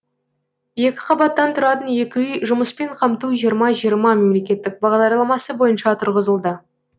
екі қабаттан тұратын екі үй жұмыспен қамту жиырма жиырма мемлекеттік бағдарламасы бойынша тұрғызылды